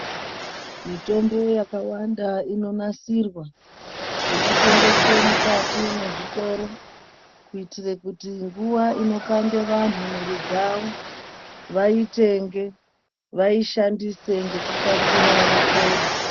Mitombo yakawanda inonasirwa yechitengeswa mukati mwezvitoro, kuyitire kuti nguwa inopande vanhu mwiri dzavo, vayitenge, vayishandise ngekukasira vapore.